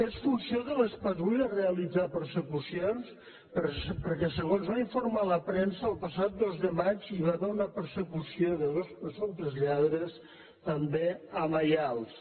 és funció de les patrulles realitzar persecucions perquè segons va informar la premsa el passat dos de maig hi va haver una persecució de dos presumptes lladres també a maials